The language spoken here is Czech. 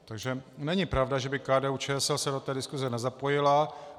Takže není pravda, že by KDU-ČSL se do té diskuse nezapojila.